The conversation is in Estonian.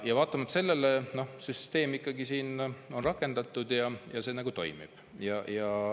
Vaatamata sellele süsteem on ikkagi rakendatud ja see nagu toimib.